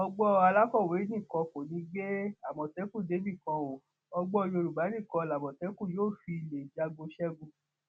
ọgbọn alákọwé nìkan kọ ní í gbé àmọtẹkùn débì kan o ọgbọn yorùbá nìkan lamọtẹkùn yóò fi lè jagun ṣẹgun